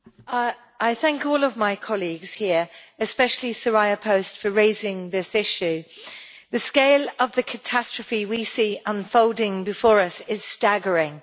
Madam President, I thank all of my colleagues here, especially Soraya Post, for raising this issue. The scale of the catastrophe we see unfolding before us is staggering.